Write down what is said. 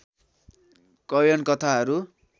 कैयन कथाहरू